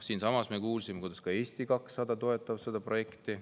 Siinsamas me kuulsime, et ka Eesti 200 toetab seda projekti.